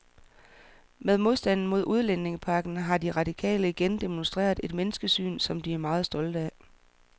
Med modstanden mod udlændingepakken har de radikale igen demonstreret et menneskesyn, som de er meget stolte af.